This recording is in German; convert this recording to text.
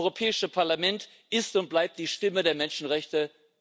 Das Europäische Parlament ist und bleibt die Stimme der Menschenrechte.